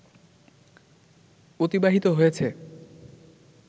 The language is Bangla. অতিবাহিত হয়েছে